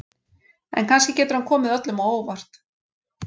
En kannski getur hann komið öllum á óvart.